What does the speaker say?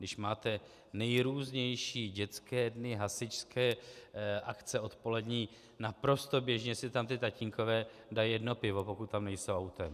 Když máte nejrůznější dětské dny, hasičské akce odpolední, naprosto běžně si tam ti tatínkové dají jedno pivo, pokud tam nejsou autem.